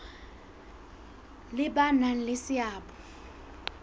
le ba nang le seabo